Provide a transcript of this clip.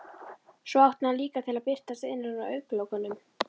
Svo átti hann líka til að birtast innan á augnlokunum.